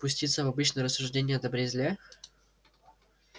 пуститься в обычные рассуждения о добре и зле